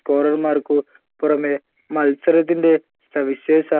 scorer മാർക്ക് പുറമെ മത്സരത്തിന്റെ സവിശേഷ